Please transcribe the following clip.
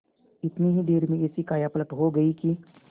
इतनी ही देर में ऐसी कायापलट हो गयी कि